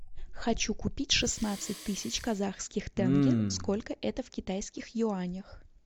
хочу купить шестнадцать тысяч казахских тенге сколько это в китайских юанях